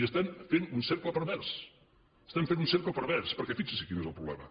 i estem fent un cercle pervers estem fent un cercle pervers perquè fixi’s quin és el problema